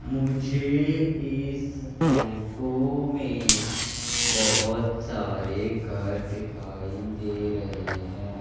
मुझे इस फोटो में बहोत सारे घर दिखाई दे रहे हैं।